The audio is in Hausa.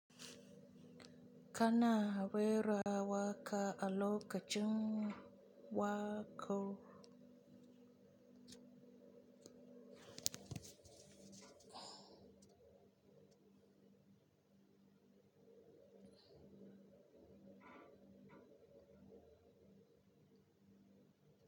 Kana rera waƙa a lokacin waƙo.